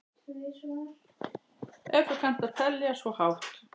Ef þú kannt að telja svo hátt.